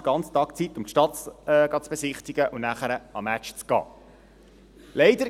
Damit hätte man noch Zeit die Stadt zu besichtigen und am Abend den Match zu besuchen.